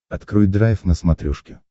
открой драйв на смотрешке